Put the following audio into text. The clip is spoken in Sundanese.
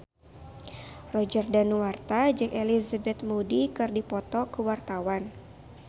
Roger Danuarta jeung Elizabeth Moody keur dipoto ku wartawan